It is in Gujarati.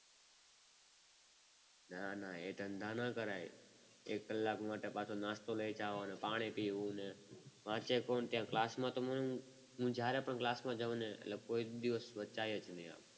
નાના એ ધંધાના કરાય. એક કલાક માટે પાછો નાસ્તો લઈ જવાનો પાણી પીવું ને વાંચે કોણ ને ક્લાસમાં તો મન જ્યારે પણ ક્લાસમાં જવું ને એટલે કોઈ દિવસ વંચાય જ નહીં.